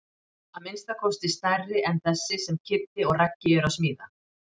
Að minnsta kosti stærri en þessi sem Kiddi og Raggi eru að smíða.